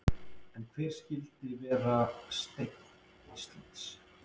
En hver skyldi vera steinn Íslands?